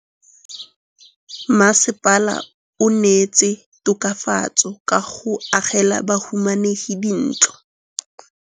Mmasepala o neetse tokafatsô ka go agela bahumanegi dintlo.